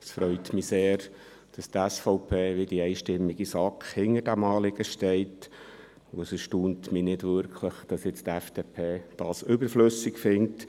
Es freut mich sehr, dass die SVP wie die einstimmige SAK hinter diesem Anliegen steht, und es erstaunt mich nicht wirklich, dass die FDP dies überflüssig findet.